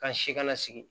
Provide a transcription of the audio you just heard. Ka si kana sigi